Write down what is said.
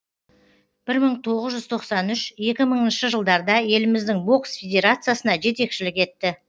бір мың тоғыз жүз тоқсан үш екі мыңыншы жылдарда еліміздің бокс федерациясына жетекшілік етті